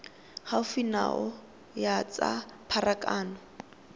gaufi nao ya tsa pharakano